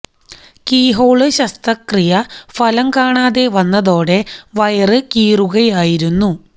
key hole ശസ്ത്രക്രിയ ഫലം കാണാതെ വന്നതോടെ വയര് കീറുകയായിരുന്നു